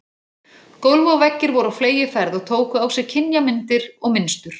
Gólf og veggir voru á fleygiferð og tóku á sig kynjamyndir og mynstur.